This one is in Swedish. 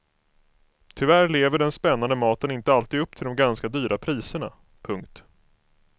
Tyvärr lever den spännande maten inte alltid upp till de ganska dyra priserna. punkt